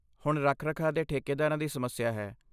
ਹੁਣ ਰੱਖ ਰਖਾਅ ਦੇ ਠੇਕੇਦਾਰਾਂ ਦੀ ਸਮੱਸਿਆ ਹੈ